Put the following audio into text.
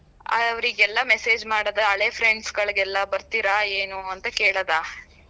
ಆ ಅವ್ರಿಗೆಲ್ಲ message ಮಾಡೋದು ಹಳೆ friends ಗಳಿಗೆಲ್ಲ ಬರ್ತಿರಾ ಏನು ಅಂತಾ ಕೇಳೋದಾ?